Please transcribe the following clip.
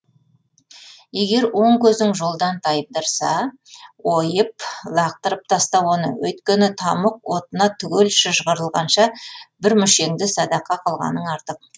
егер оң көзің жолдан тайдырса ойып лақтырып таста оны өйткені тамұқ отына түгел шыжғырылғанша бір мүшеңді садақа қылғаның артық